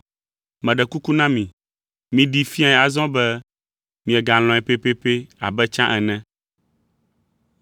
Meɖe kuku na mi, miɖee fiae azɔ be miegalɔ̃e pɛpɛpɛ abe tsã ene.